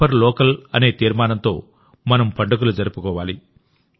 vocal for local అనే తీర్మానంతో మన పండుగలు జరుపుకోవాలి